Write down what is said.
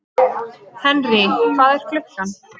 Henry, hvað er klukkan?